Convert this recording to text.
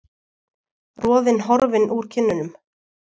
Roðinn horfinn úr kinnunum.